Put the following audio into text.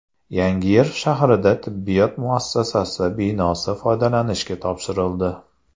Yangiyer shahrida tibbiyot muassasasi binosi foydalanishga topshirildi.